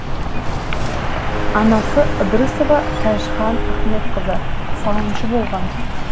анасы ыдрысова тәжхан ахметқызы сауыншы болған